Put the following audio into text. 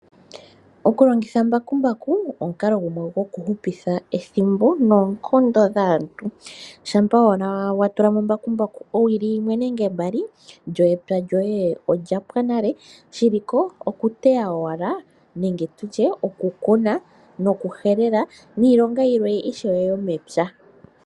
Okulongitha mbakumbaku omukalo gumwe gwokuhupitha ethimbo noonkondo dhaantu. Shampa owala wa tula mo mbakumbaku owili yimwe nenge mbali lyo epya lyoye olyapwa nale shiliko oku teya owala nenge tutye oku kuna nokuhelela niilonga yilwe ishewe yomepya.